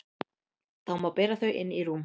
Þá má bera þau inn í rúm.